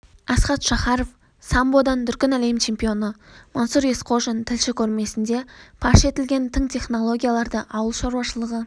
асхат шахаров самбодан дүркін әлем чемпионы мансұр есқожин тілші көрмесінде паш етілген тың технологияларды ауыл шаруашылығы